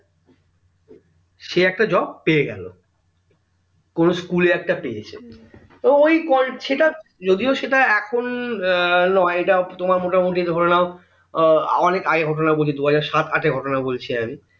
সে একটা job পেয়ে গেলো কোনো school এ একটা পেয়েছে ও ওই কল সেটা যদিও সেটা এখন নয় এটা তোমার মোটামোটি ধরে নাও অনেক আগের ঘটনা বলছি দুহাজার সাত আটের ঘটনা বলছি আমি